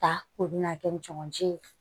Ta k'o bɛna kɛ jamacɛ ye